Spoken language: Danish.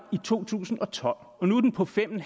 i to tusind og tolv og nu er den på fem